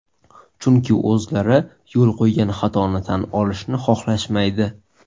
Chunki o‘zlari yo‘l qo‘ygan xatoni tan olishni xohlashmaydi.